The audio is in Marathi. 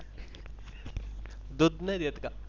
दूध नाही देत का?